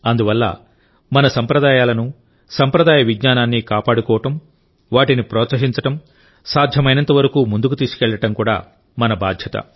అందువల్ల మన సంప్రదాయాలనుసంప్రదాయ విజ్ఞానాన్ని కాపాడుకోవడం వాటిని ప్రోత్సహించడం సాధ్యమైనంతవరకు ముందుకు తీసుకెళ్లడం కూడా మన బాధ్యత